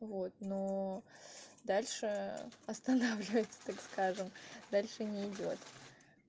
вот но дальше останавливается так скажем дальше не идёт